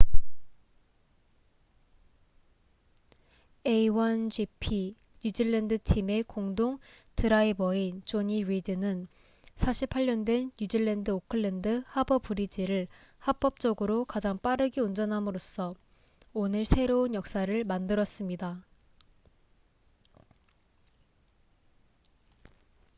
a1gp 뉴질랜드 팀의 공동 드라이버인 jonny reid는 48년 된 뉴질랜드 오클랜드 하버 브리지를 합법적으로 가장 빠르게 운전함으로써 오늘 새로운 역사를 만들었습니다